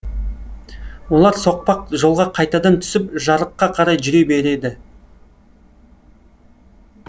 олар соқпақ жолға қайтадан түсіп жарыққа қарай жүре береді